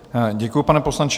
Děkuji, pane poslanče.